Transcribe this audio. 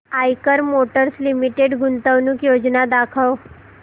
Eicher Motors Limited गुंतवणूक योजना दाखव